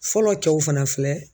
Fɔlɔ cɛw fana filɛ